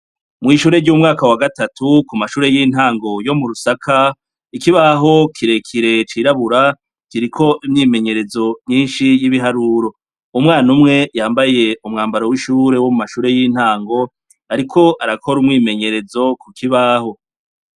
Mwishure ryumwaka wa gatatu kumashure yintango yo murusaka ikibaho kirekire cirabura kiriko imyimenyerezo myinshi yibiharuro umwana umwe yambaye umwambaro wishure womumashure yintango ariko arakora umwimenyerezo kukibaho